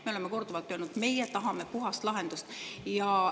Me oleme korduvalt öelnud, et meie tahame puhast lahendust.